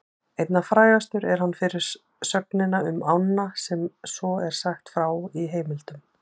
Einna frægastur er hann fyrir sögnina um ána sem svo er sagt frá í heimildum: